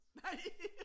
Nej!